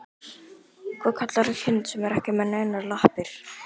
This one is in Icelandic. Hvað kallarðu kind sem er ekki með neinar lappir?